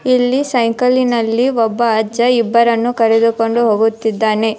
ಇಲ್ಲಿ ಸೈಕಲಿನಲ್ಲಿ ಒಬ್ಬ ಅಜ್ಜ ಇಬ್ಬರನ್ನು ಕರೆದುಕೊಂಡು ಹೋಗುತ್ತಿದ್ದಾನೆ.